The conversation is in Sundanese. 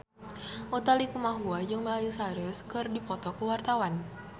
Utha Likumahua jeung Miley Cyrus keur dipoto ku wartawan